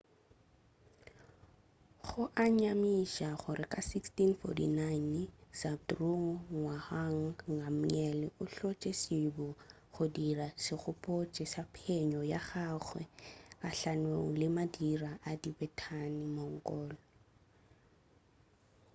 go a nyamiša gore ka 1649 zhabdrung ngawang namgyel o hlotše sebo go dira segopotšo sa phenyo ya gagwe gahlanong le madira a tibetan-mongol